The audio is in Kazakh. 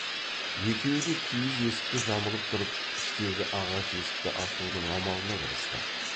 екеуі де киіз есікті жамылып тұрып іштегі ағаш есікті ашудың амалына кірісті